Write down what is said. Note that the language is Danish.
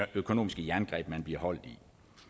økonomiske jerngreb man bliver holdt i